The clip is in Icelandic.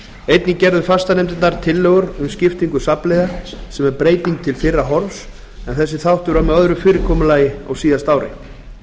einnig gerðu fastanefndir tillögur um skiptingu safnliða sem er breyting til fyrra horfs en þessi þáttur var með öðru fyrirkomulagi á síðasta ári